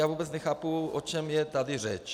Já vůbec nechápu, o čem je tady řeč.